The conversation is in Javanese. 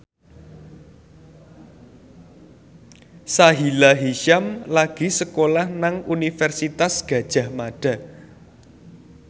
Sahila Hisyam lagi sekolah nang Universitas Gadjah Mada